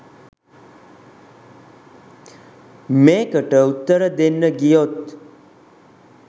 මේකට උත්තර දෙන්න ගියොත්